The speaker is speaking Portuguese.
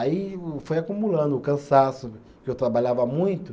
Aí o foi acumulando o cansaço, porque eu trabalhava muito.